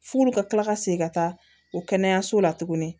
F'olu ka kila ka segin ka taa o kɛnɛyaso la tuguni